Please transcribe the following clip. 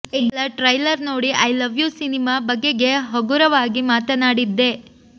ಕೇವಲ ಟ್ರೈಲರ್ ನೋಡಿ I love you ಸಿನಿಮಾ ಬಗೆಗೆ ಹಗುರವಾಗಿ ಮಾತನಾಡಿದ್ದೆ